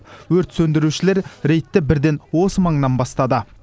өрт сөндірушілер рейдті бірден осы маңнан бастады